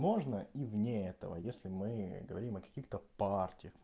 можно и вне этого если мы говорим о каких-то паларти